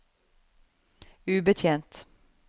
ubetjent